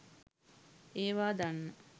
ඒවා දන්න